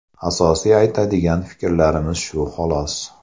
Asosiy aytadigan fikrlarimiz shu xolos.